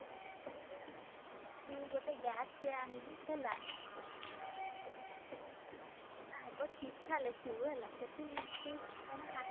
ତୁ ଗୋଟେ bag ଟେ ଆଣିବୁ ହେଲା। ଆଗ ଚିଠା ଲେଖିବୁ ହେଲା ସେଠି ତୁ କାହିଁକିନା